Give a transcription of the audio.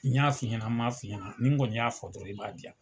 N y'a fɔ i ɲɛna ma f'i ɲɛna ni n kɔni fɔ dɔrɔn i b'a di yan.